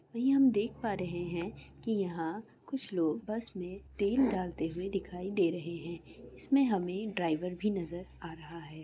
यह हम देख पा रहे है की यहा कुछ लोग बस मे तेल डालते हुए दिखाई दे रहे है इसमें हमे ड्राइवर भी नजर आ रहा है।